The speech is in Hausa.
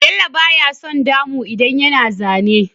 Bello baya son damu idan yana zane